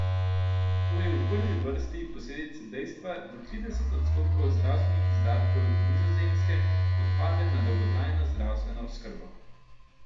To je v prvi vrsti posledica dejstva, da trideset odstotkov zdravstvenih izdatkov Nizozemske odpade na dolgotrajno zdravstveno oskrbo.